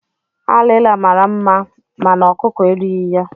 Alila mara nma mànà ọkụkọ erighi ya.